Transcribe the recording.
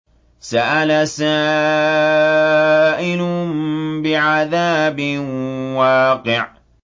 سَأَلَ سَائِلٌ بِعَذَابٍ وَاقِعٍ